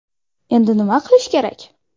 Endi nima qilish kerak?